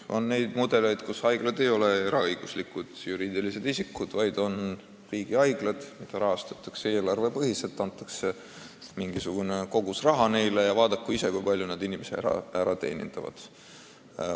On mudeleid, mille korral haiglad ei ole eraõiguslikud juriidilised isikud, vaid on riigihaiglad, mida rahastatakse eelarvest: antakse mingisugune kogus raha ja vaadaku ise, kui palju nad suudavad inimesi teenindada.